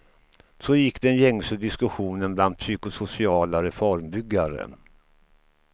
Så gick den gängse diskussionen bland psykosociala reformbyggare.